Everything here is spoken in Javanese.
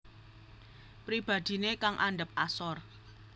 Pribadiné kang andhap asor